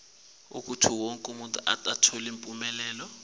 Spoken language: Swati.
kutsi wonkhe umuntfu